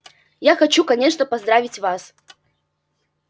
я хочу конечно поздравить вас